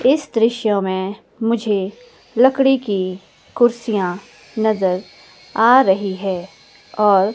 इस दृश्य में मुझे लकड़ी की कुर्सियां नजर आ रही है और--